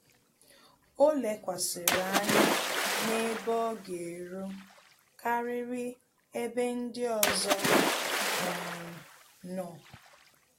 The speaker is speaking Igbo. Ọ́ lékwàsị̀rị̀ ányá n’ébé ọ́ gà-érú kàrị́rị́ ébé ndị ọzọ um nọ́.